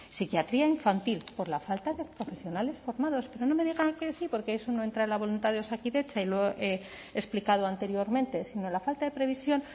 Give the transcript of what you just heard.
psiquiatría infantil por la falta de profesionales formados pero no me digan que sí porque eso no entra en la voluntad de osakidetza y lo he explicado anteriormente sino la falta de previsión